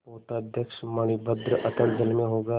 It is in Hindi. पोताध्यक्ष मणिभद्र अतल जल में होगा